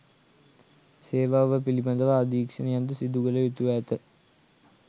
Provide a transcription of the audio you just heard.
සේවාව පිළිබඳව අධීක්ෂණයක්ද සිදුකළ යුතුව ඇත